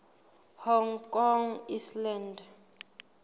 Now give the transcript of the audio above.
hong kong island